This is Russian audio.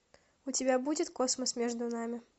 у тебя будет космос между нами